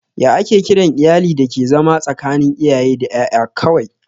Ya ake kiran iyalin dake zama tsakanin iyaye da ƴaƴa kawai?